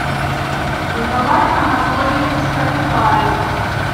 николай анатольевич карюкаев